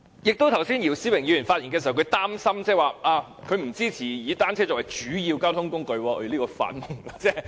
姚思榮議員剛才發言時表示擔心，他不支持以單車作為主要交通工具。